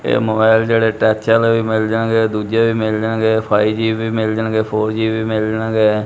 ਇਹ ਮੋਬਾਇਲ ਜਿਹੜੇ ਟਚ ਆਲੇ ਵੀ ਮਿਲ ਜਾਣਗੇ ਦੂਜੇ ਵੀ ਮਿਲ ਜਾਣਗੇ ਫਾਈਵ ਜੀ ਵੀ ਮਿਲ ਜਾਣਗੇ ਫ਼ੋਰ ਜੀ ਵੀ ਮਿਲ ਜਾਣਗੇ।